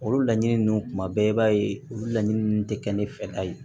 Olu laɲini ninnu kuma bɛɛ i b'a ye olu laɲini ninnu tɛ kɛ ne fɛla ye